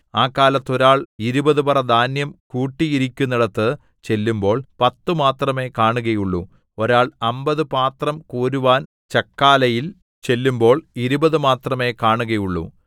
ആ കാലത്ത് ഒരാൾ ഇരുപത് പറ ധാന്യം കൂട്ടിയിരിക്കുന്നിടത്ത് ചെല്ലുമ്പോൾ പത്ത് മാത്രമേ കാണുകയുള്ളു ഒരാൾ അമ്പത് പാത്രം കോരുവാൻ ചക്കാലയിൽ ചെല്ലുമ്പോൾ ഇരുപത് മാത്രമേ കാണുകയുള്ളു